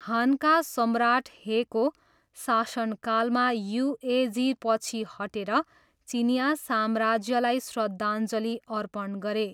हानका सम्राट हेको शासनकालमा युएझी पछि हटेर चिनियाँ साम्राज्यलाई श्रद्धाञ्जली अर्पण गरे।